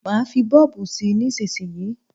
Má fí bọ́ọ̀bù sí nísísíyí.